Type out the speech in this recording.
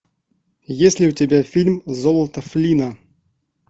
есть ли у тебя фильм золото флина